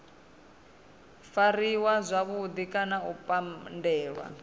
fariwa zwavhudi kana u pandelwa